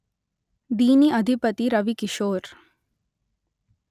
దీని అధిపతి రవికిషోర్